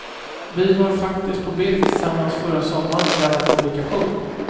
Vi var faktiskt på bild tillsammans förra sommaren i denna publikation.